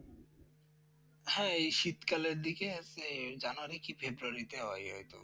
হ্যাঁ এই শীতকালের দিকে আছে জানুয়ারি কি ফেব্রুয়ারি তে হয় হয়তো